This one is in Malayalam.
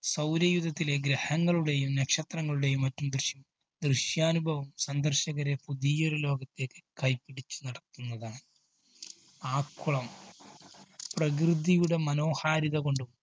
സൗരയൂഥത്തിലെ ഗ്രഹങ്ങളുടേയും നക്ഷത്രങ്ങളുടെയും മറ്റും ദൃശ്, ദൃശ്യാനുഭവം സന്ദര്‍ശകരെ പുതിയ ഒരു ലോകത്തേക്ക് കൈപിടിച്ചു നടത്തുന്നതാണ്. ആക്കുളം, പ്രകൃതിയുടെ മനോഹാരിതകൊണ്ടും